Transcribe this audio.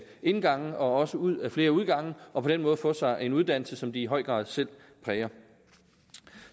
indgange og også ud ad flere udgange og på den måde få sig en uddannelse som de i høj grad selv præger